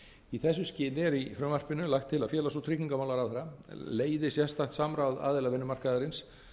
í þessu skyni er í frumvarpinu lagt til að félags og tryggingamálaráðherra leiði sérstakt samráð aðila vinnumarkaðarins